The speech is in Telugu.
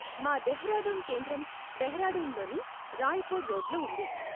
మా డెహ్రాడూన్ కేంద్రం డెహ్రాడూన్ లోని రాయ్పూర్ రోడ్ లో ఉంది.